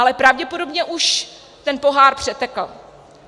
Ale pravděpodobně už ten pohár přetekl.